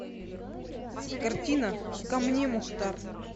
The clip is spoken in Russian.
картина ко мне мухтар